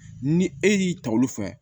Ni e y'i ta olu fɛ